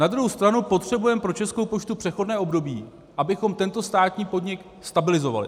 Na druhou stranu potřebujeme pro Českou poštu přechodné období, abychom tento státní podnik stabilizovali.